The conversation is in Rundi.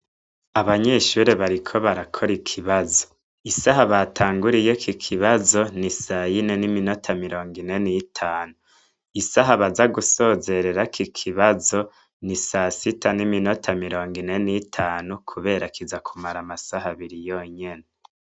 Abanyeshuri bariko barakora ikibazo isaha batanguriye ki kibazo ni sayine n'iminota mirongo inene itanu isaha baza gusozerera ki kibazo ni sasita n'iminota mirongo inene itanu, kubera kiza kumara amasaha abiri yonyene.